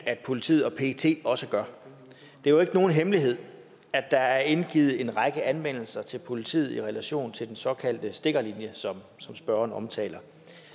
at politiet og pet også gør det er jo ikke nogen hemmelighed at der er indgivet en række anmeldelser til politiet i relation til den såkaldte stikkerlinje som spørgeren omtaler